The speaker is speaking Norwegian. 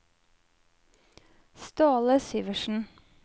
Ståle Syversen